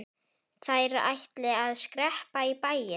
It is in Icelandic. Þær ætli að skreppa í bæinn.